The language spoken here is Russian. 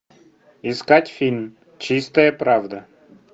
искать фильм чистая правда